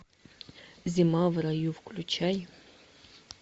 зима в раю включай